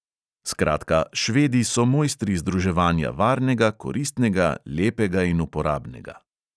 Skratka, švedi so mojstri združevanja varnega, koristnega, lepega in uporabnega.